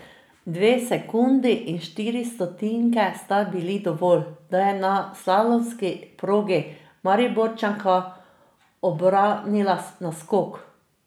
Dve sekundi in štiri stotinke sta bili dovolj, da je na slalomski progi Mariborčanka obranila naskok.